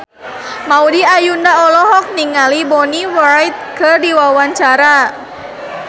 Maudy Ayunda olohok ningali Bonnie Wright keur diwawancara